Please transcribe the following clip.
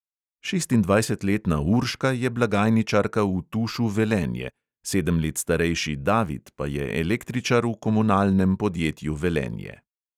Šestindvajsetletna urška je blagajničarka v tušu velenje, sedem let starejši david pa je električar v komunalnem podjetju velenje.